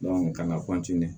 ka na